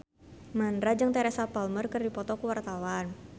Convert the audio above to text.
Mandra jeung Teresa Palmer keur dipoto ku wartawan